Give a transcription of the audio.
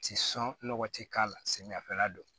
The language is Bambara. Ti sɔn nɔgɔ ti k'a la samiya fɛ la don